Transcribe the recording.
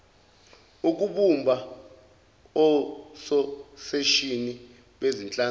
ukubumba ososeshini bezinhlangano